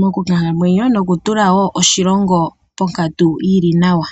mokukalamwenyo. Nokutula wo oshilongo ponkatu yili nawa.